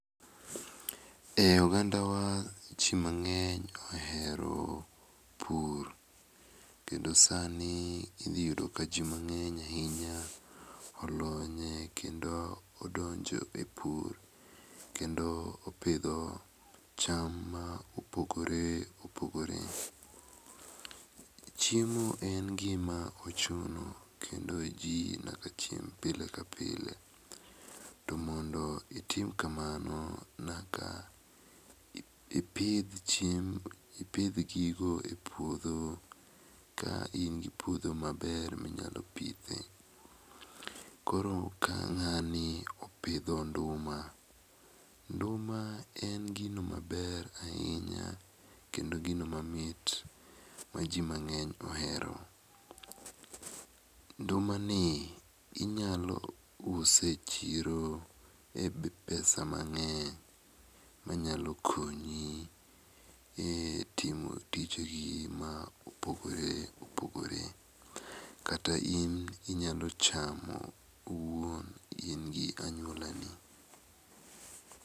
E oganda ji mangeny ohero pur kendo saa ni idhi yudo ka ji mangeny ainya olonye kendo odonjo e pur kendo opidho cham ma opogore opogore. Chiemo en gi ma ochuno kendo ji nyaka chiem pile ka pile to mondo otim kamano nyaka ipidh chiemo ipidh gigo e puodho ka in gi puodho ma ber ma inyalo pidhe. Koro ka ngani opidho nduma , nduma ne gino ma ber ainya kendo gino ma mit ma ji mangeny ohero. Nduma ni inyalo use e chiro e pesa mangeny ma nyalo konyi e timo tije gi ma opogore opogore .Kata in inyalo chamo owuon in gi anyuola ni.